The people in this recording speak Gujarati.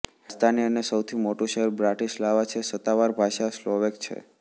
રાજધાની અને સૌથી મોટું શહેર બ્રાટિસ્લાવા છે સત્તાવાર ભાષા સ્લોવૅક છે